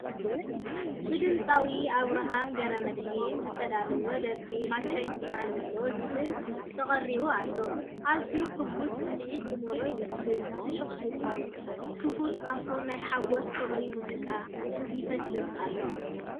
ብድምጻዊ ኣብርሃም ገብረመድህ ዝተዳለወ ደርፊ ማቻ ይስማዓኒ ዝብል ተቀሪቡ ኣሎ። ኣዝዩ ሕጉስን ስምዒት ዝመልኦን ይመስል! ፍሽኽታኡን ክፉት ኣፉን ናይ ሓጎስን ፍቕሪ ሙዚቃን ይፈስስ ኣሎ።